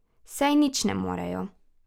Saj nič ne morejo.